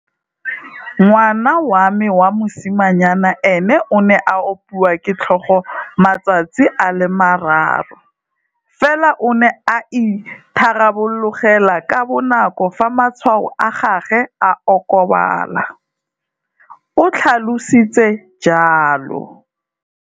"Ngwana wa me wa mosimanyana ene o ne a opiwa ke tlhogo matsatsi a le mararo, fela o ne a itharabologelwa ka bonako fa matshwao a gagwe a okobala," o tlhalositse jalo.